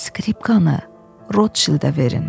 Skripkanı Rodşildə verin.